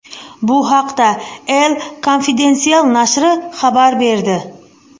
Bu haqda El Confidencial nashri xabar berdi.